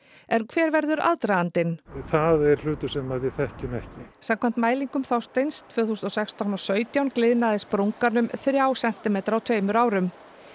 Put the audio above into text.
en hver verður aðdragandinn nei það er hlutur sem að við þekkjum ekki samkvæmt mælingum Þorsteins tvö þúsund og sextán og sautján gliðnaði sprungan um þrjá sentimetra á tveimur árum